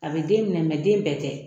A bɛ den minɛ den bɛɛ tɛ